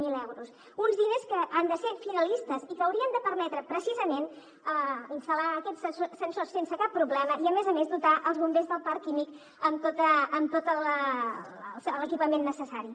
zero euros uns diners que han de ser finalistes i que haurien de permetre precisament instal·lar aquests sensors sense cap problema i a més a més dotar els bombers del parc químic amb tot l’equipament necessari